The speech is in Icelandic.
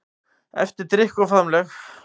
Eftir drykk og faðmlög.